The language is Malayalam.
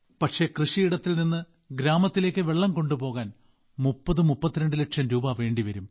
പക്ഷേ കൃഷിയിടത്തിൽ നിന്ന് ഗ്രാമത്തിലേക്ക് വെള്ളം കൊണ്ടുപോകാൻ 3032 ലക്ഷം രൂപ വേണ്ടിവരും